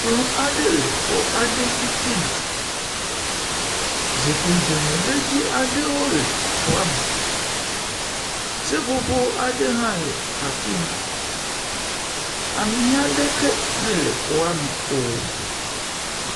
Kplɔ aɖe le xɔ aɖe titina. Zikpui dzeŋeɖedzi aɖewo le xɔa me. Seƒoƒo aɖe hã le afi ma. Ame aɖeke mele xɔa me o.